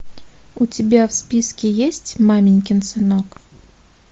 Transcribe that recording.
у тебя в списке есть маменькин сынок